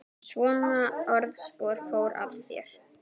Svona orðspor fór af þér.